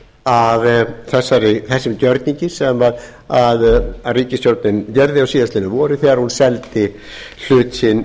er angi af þessum gjörningi sem ríkisstjórnin gerði á síðastliðnu vori þegar hún seldi hlut sinn